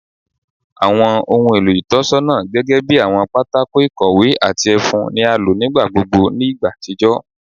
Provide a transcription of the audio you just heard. Awọn ohun elo itọnisọna gẹgẹbi awọn pátákó ikowé ati efun ni a lo nigbagbogbo ni igba atijọ